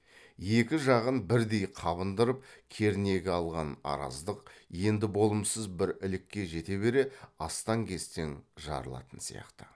екі жағын бірдей қабындырып кернегі алған араздық енді болымсыз бір ілікке жете бере астаң кестен жарылатын сияқты